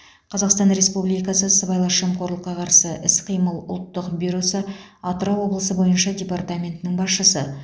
қазақстан республикасы сыбайлас жемқорлыққа қарсы іс қимыл ұлттық бюросы атырау облысы бойынша департаментінің басшысы